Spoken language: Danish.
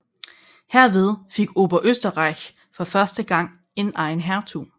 Herved fik Oberösterreich for første gang en egen hertug